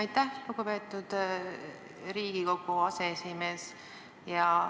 Aitäh, lugupeetud Riigikogu aseesimees!